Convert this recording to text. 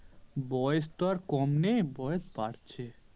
বয়েস তো আর কম নেই বয়েস বাড়ছে।